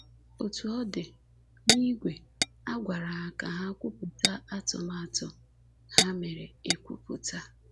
Otu ọ dị, n’ìgwe, a gwara ha ka ha kwupụta atụmatụ ha mere ekwupụta.